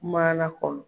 Maana kɔnɔ